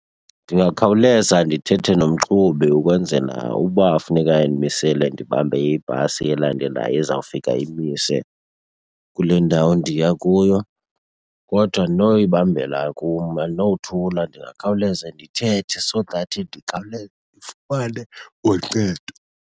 Ndingakhawuleza ndithethe nomqhubi ukwenzela uba funeka endimisele ndibambe ibhasi elandelayo ezawufika imise kule ndawo ndiya kuyo. Kodwa andinoyibambela kum andinothula, ndingakhawuleza ndithethe so that ndikhawuleze ndifumane uncedo.